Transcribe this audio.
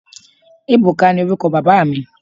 Ebuka ni oruko baba mi